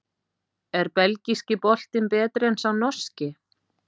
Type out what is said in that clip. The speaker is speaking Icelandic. Er Belgíski boltinn betri en sá Norski?